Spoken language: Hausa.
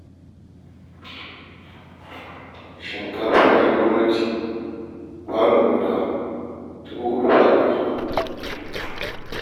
Shinkafa 'yar gwamnati kwano guda dubu huɗu fa a kasuwa